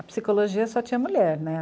A psicologia só tinha mulher, né?